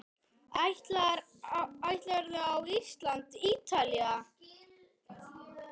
Ætlarðu á Ísland- Ítalía?